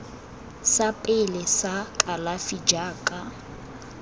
sa pele sa kalafi jaaka